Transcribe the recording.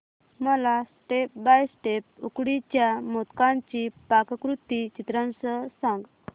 मला step by step उकडीच्या मोदकांची पाककृती चित्रांसह सांग